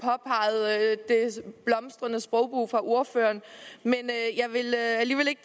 blomstrende sprog fra ordføreren men jeg vil alligevel ikke